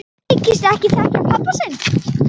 Þykist ekki þekkja pabba sinn!